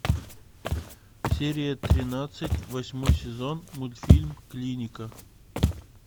серия тринадцать восьмой сезон мультфильм клиника